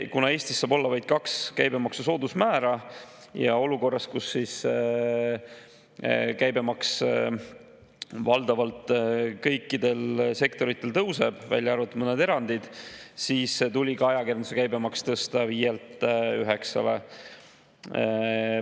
Kuna Eestis saab olla vaid kaks käibemaksu soodusmäära ja olukorras käibemaks valdavalt kõikides sektorites tõuseb, välja arvatud mõned erandid, siis tuli ka ajakirjanduse käibemaks tõsta 5%‑lt 9%‑le.